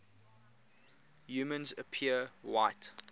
humans appear white